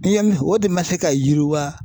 I ye min fɔ o de ma se ka yiriwa.